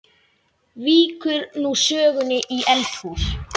Víkur nú sögunni í eldhús.